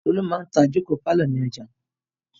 Tolú máa ń ta ìjókòó pálọ̀ ní ọjà.